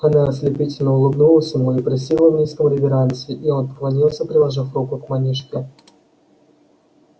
она ослепительно улыбнулась ему и присела в низком реверансе и он поклонился приложив руку к манишке